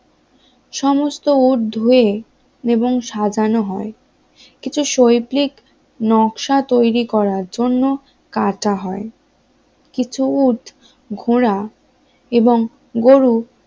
সমস্ত উট ধুয়ে এবং সাজানো হয় কিছু শৈল্পিক নকশা তৈরি করার জন্য কাটা হয় কিছু উট ঘোড়া এবং গরু